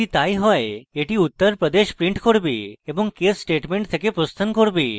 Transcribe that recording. যদি তাই হয় এটি uttar pradesh print করবে এবং case statement থেকে প্রস্থান করবে